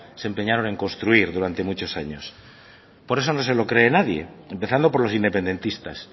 se empeñaron en construir durante muchos años por eso no se lo cree nadie empezando por los independentistas